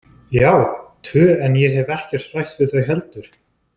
Já, tvö en ég hef ekki rætt við þau heldur.